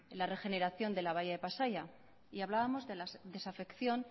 la regeneración de la bahía de pasaia y hablábamos de la desafección